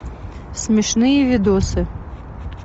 смешные видосы